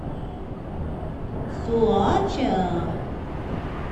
соача